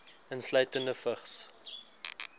insluitende vigs